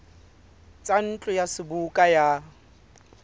tsa ntlo ya seboka ya